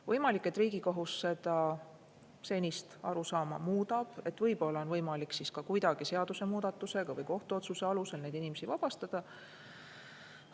Võimalik, et Riigikohus seda senist arusaama muudab, võib-olla on võimalik ka kuidagi seadusemuudatusega või kohtuotsuse alusel neid inimesi vabastada.